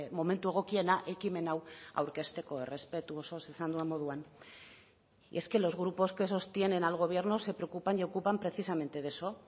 momentu egokiena ekimen hau aurkezteko errespetu osoz esan dudan moduan y es que los grupos que sostienen al gobierno se preocupan y ocupan precisamente de eso